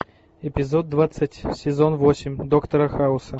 эпизод двадцать сезон восемь доктора хауса